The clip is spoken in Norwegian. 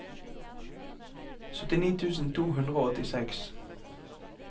syttini tusen to hundre og åttiseks